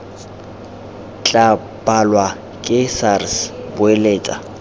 tla balwa ke sars boeletsa